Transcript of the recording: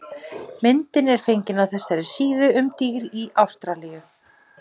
Myndin er fengin á þessari síðu um dýr í Ástralíu.